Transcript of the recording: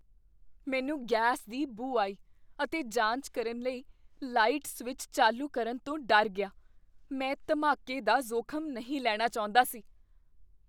ਮੈਨੂੰ ਗੈਸ ਦੀ ਬੂ ਆਈ ਅਤੇ ਜਾਂਚ ਕਰਨ ਲਈ ਲਾਈਟ ਸਵਿੱਚ ਚਾਲੂ ਕਰਨ ਤੋਂ ਡਰ ਗਿਆ। ਮੈਂ ਧਮਾਕੇ ਦਾ ਜੋਖ਼ਮ ਨਹੀਂ ਲੈਣਾ ਚਾਹੁੰਦਾ ਸੀ।